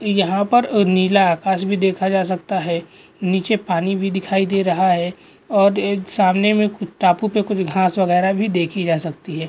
यहाँ पर नीला आकास भी देखा जा सकता है नीचे पानी भी दिखाई दे रहा है और सामने में कुछ टापू पर कुछ घास वगैरह भी देखी जा सकती है।